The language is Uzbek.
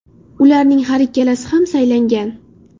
Ularning har ikkalasi ham saylangan.